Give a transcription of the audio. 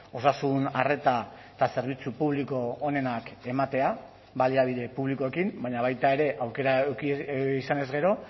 osasun arreta eta zerbitzu publiko onenak ematea baliabide publikoekin baina baita ere aukera izanez gero